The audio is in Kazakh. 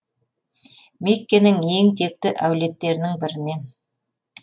меккенің ең текті әулеттерінің бірінен